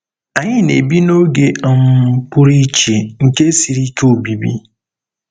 Anyị na-ebi 'n'oge um pụrụ iche nke siri ike obibi.'